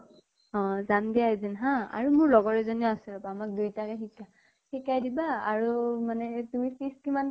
অ যাম্গে এদিন হা। আৰু মোৰ লগৰ এজনীও আছে, আমাক দুয়োটাকে শিকা শিকাই দিবা আৰু মানে তুমি fees কিমান